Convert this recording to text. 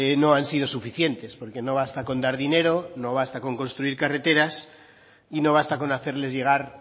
no han sido suficientes porque no basta con dar dinero no basta con construir carreteras y no basta con hacerles llegar